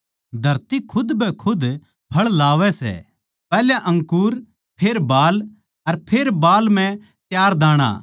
धरती खुदबैखुदे फळ लावै सै पैहल्या अंकुर फेर बाल अर फेर बाल म्ह त्यार दाणा